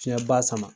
Fiɲɛba sama